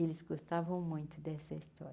Eles gostavam muito dessa história.